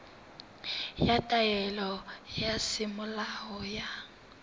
ya taelo ya semolao ya